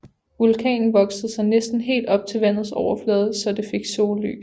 Vulkanen voksede sig næsten helt op til vandets overflade så det fik sollys